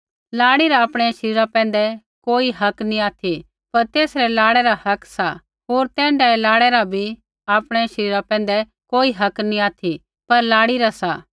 लाड़ी रा आपणै शरीरा पैंधै कोई हक्क नी ऑथि पर तेसै रै लाड़ै रा हक्क सा होर तैण्ढाऐ लाड़ै रा भी आपणै शरीरा पैंधै कोई हक्क नी ऑथि पर लाड़ी रा सा